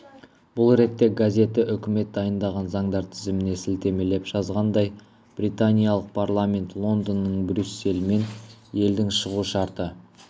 бұл ретте газеті үкімет дайындаған заңдар тізіміне сілтемелеп жазғандай британиялық парламент лондонның брюссельмен елдің шығу шарты